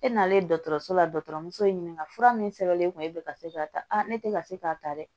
E nanen dɔgɔtɔrɔso la dɔgɔtɔrɔ muso ye ɲininka fura min sɛbɛnlen kun ye e bɛ ka se k'a ta ne tɛ ka se k'a ta dɛ